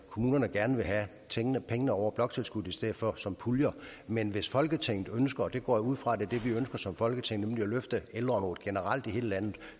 kommunerne gerne vil have pengene over bloktilskuddet i stedet for som puljer men hvis folketinget ønsker og det går jeg ud fra er det vi ønsker som folketing at løfte ældreområdet generelt i hele landet